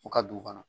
U ka dugu kɔnɔ